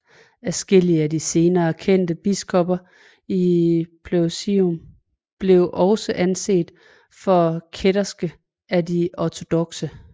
Adskillige af de senere kendte biskopper af Pelusium blev også anset for kætterske af de ortodokse